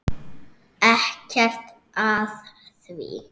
Ekkert að því!